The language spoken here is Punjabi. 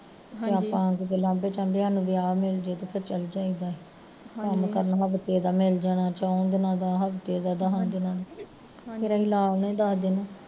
ਤੇ ਆਪਾਂ ਜੇ ਲਾਂਬੇ ਚਾਬੇ ਸਾਨੂੰ ਕੋਈ ਵਿਆਹ ਮਿਲਜੇ ਤੇ ਚੱਲ ਜਾਈ ਦਾ ਸੀ ਕੰਮ ਕਰਨ ਕਿਸੇ ਦਾ ਕਰਨ ਵਾਲਾ ਮਿਲ ਜਾਣਾ ਚੋਹਾ ਦਿਨ ਦਾ ਹਫ਼ਤੇ ਦਾ, ਦਸਾਂ ਦਿਨ ਦਾ ਫਿਰ ਅਸੀਂ ਲਾ ਆਉਂਦੇ ਸੀ ਦੱਸ ਦਿਨ